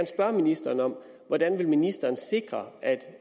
spørge ministeren om hvordan ministeren vil sikre at